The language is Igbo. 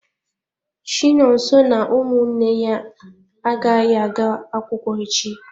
Chinonso na ụmụnne ya agaghị aga akwụkwọ echi.